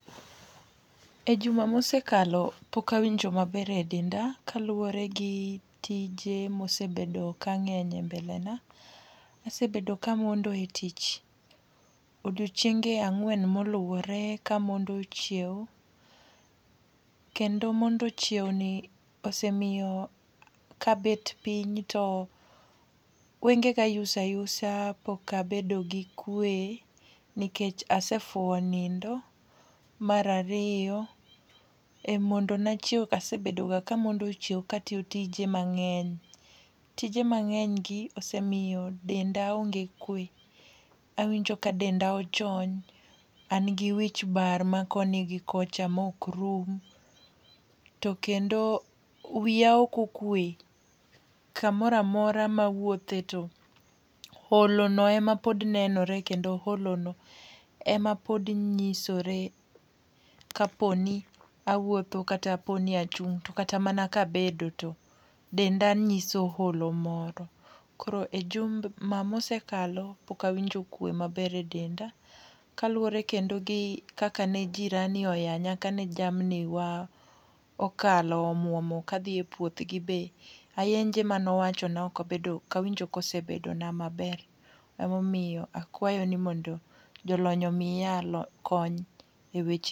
E juma ma osekalo, pok awinjo maber edenda kaluwore gi tije ma osebedo kang'eny e mbele na. Asebedo ka amondo e tich odiechienge ang'wen moluwore kamondo chiew kendo mondo chiewni osemiyo kabet piny to wengega yuso ayusa pok abedo gi kwe nikech asefuwo nindo. Mar ariyo e mondona chiew, ase bedoga kamondo chiew ka atiyo tije mang'eny. Tije mang'eny gi osemiyo denda onge kwe. Awinko ka denda onge kwe an gi wich bar ma koni gi kocha mokrum to kendo wiya ok okwe. Kamoro amora mawuothe to olono ema pod nenore kendo olono ema pod nyisore kaponi awuotho kata poni achung', to kata mana kabet to denda nyiso holo moro. Koro e juma mose kalo pok awinjo kwe maber e denda. Kaluwore kendo gi kaka ne jirani oyanya kane jamni wa okalo omuomo kadhi e puothgi be. Ayenje mane owachona ok obedo ok awinjo kosebedo na maber. Emomiyo akwayo ni mondo jolony omiya lony kony eweche